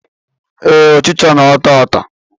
Ee, ọchịcha na-ata ata